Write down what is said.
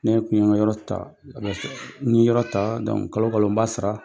Ne kun ye yɔrɔ ta, n ye yɔrɔ ta kalo kalo n b'a sara.